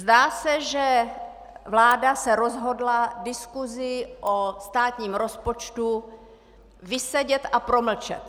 Zdá se, že vláda se rozhodla diskusi o státním rozpočtu vysedět a promlčet.